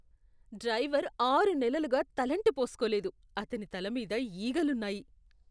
Driver ఆరు నెలలుగా తలంటి పోస్కోలేదు, అతని తల మీద ఈగలున్నాయి.